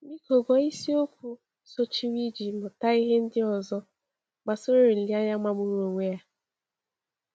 Biko gụọ isiokwu sochiri iji mụta ihe ndị ọzọ gbasara olileanya magburu onwe ya.